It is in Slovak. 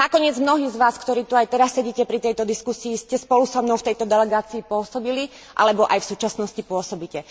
Nakoniec mnohí z vás, ktorí tu aj teraz sedíte pri tejto diskusii, ste spolu so mnou v tejto delegácii pôsobili alebo aj v súčasnosti pôsobíte.